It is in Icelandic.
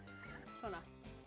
svona